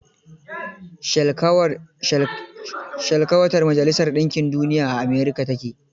Shelkwatar majalisar ɗinkin Duniya a America ta ke.